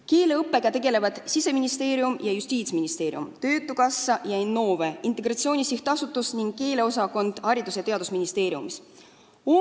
Keeleõppega tegelevad Siseministeerium ja Justiitsministeerium, töötukassa ja Innove, Integratsiooni Sihtasutus ning Haridus- ja Teadusministeeriumi keeleosakond.